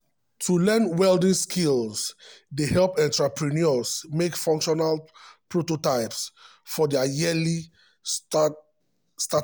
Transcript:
to learn um welding skills dey help entrepreneurs make functional prototypes for dia early-stage startups.